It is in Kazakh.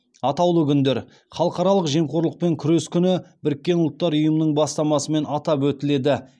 атаулы күндер халықаралық жемқорлықпен күрес күні біріккен ұлттар ұйымының бастамасымен атап өтіледі